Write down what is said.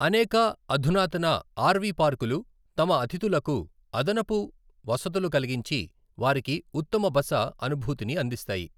అనేక అధునాతన ఆర్వి పార్కులు తమ అతిథులకు అదనపు వసతులు కలిగించి వారికి ఉత్తమ బస అనుభూతిని అందిస్తాయి.